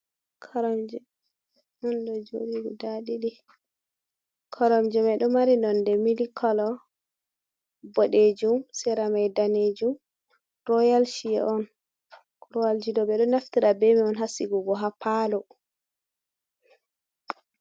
Koromje on dojodi guda ɗidi ,koromje mai domari nonde milikkolo bodejum siramai danejum royal chair on royaljido be do naftira beman hasigugo ha palo.